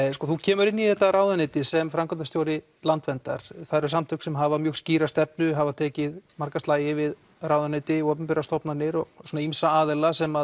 þú kemur inn í þetta ráðuneyti sem framkvæmdarstjóri Landverndar það eru samtök sem hafa mjög skýra stefnu hafa tekið marga slagi við ráðuneyti og opinberar stofnanir og svona ýmsa aðila sem